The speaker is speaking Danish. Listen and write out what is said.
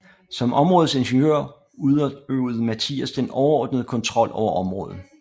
Som områdets ingeniør udøvede Mathias den overordnede kontrol over området